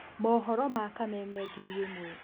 Mohoro ma Kameme ngiri ĩmwe.